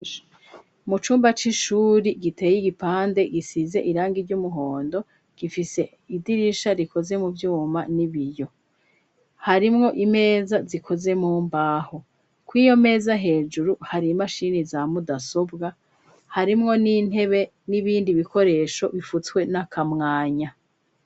Mu cumba c'ishuri giteye igipande gisize irangi ry'umuhondo, gifise idirisha rikoze mu vyuma n'ibiyo harimwo imeza zikoze mu mbaho ku iyo meza hejuru hari imashini za mudasobwa, harimwo n'intebe n'ibindi bikoresho bifutswe n'akamwanya.